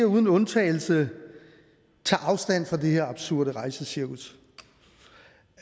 uden undtagelse tager afstand fra det her absurde rejsecirkus